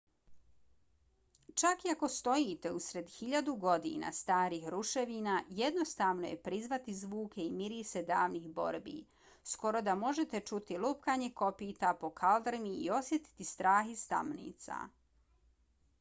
čak i ako stojite usred hiljadu godina starih ruševina jednostavno je prizvati zvuke i mirise davnih borbi skoro da možete čuti lupkanje kopita po kaldrmi i osjetiti strah iz tamnica